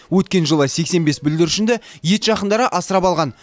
өткен жылы сексен бес бүлдіршінді ет жақындары асырап алған